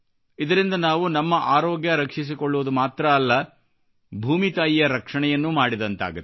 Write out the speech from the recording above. ಇದರಿಂದ ನಾವು ನಮ್ಮ ಆರೋಗ್ಯ ರಕ್ಷಿಸಿಕೊಳ್ಳುವುದು ಮಾತ್ರವಲ್ಲ ಭೂಮಿ ತಾಯಿಯ ರಕ್ಷಣೆಯನ್ನೂ ಮಾಡಿದಂತಾಗುತ್ತದೆ